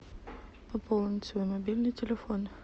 пополнить свой мобильный телефон